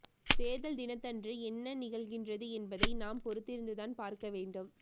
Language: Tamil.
தேர்தல் தினத்தன்று என்ன நிகழ்கின்றது என்பதை நாம் பொறுத்திருந்து தான் பார்க்க வேண்டும்